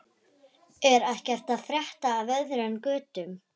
Er ekkert að frétta af öðru en götum?